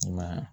I ma ye